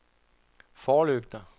forlygter